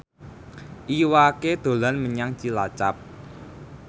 Iwa K dolan menyang Cilacap